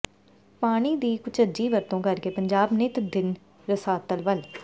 ਪਾਣੀ ਦੀ ਕੁਚੱਜੀ ਵਰਤੋਂ ਕਰਕੇ ਪੰਜਾਬ ਨਿੱਤ ਦਿਨ ਰਸਾਤਲ ਵੱਲ